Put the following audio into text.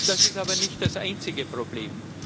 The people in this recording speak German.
Das ist aber nicht das einzige Problem.